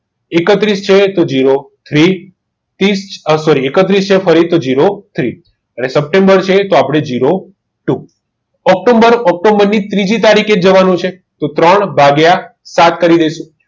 એકત્રીસ થી એકત્રીસ થી zero three સપ્ટેમ્બર છે તો આપણે zero two ઓક્ટોબર ઓક્ટોબર ની ત્રીજી તારીખે જવાનું છે તો ત્રણ ભાગ્યા સાત તરી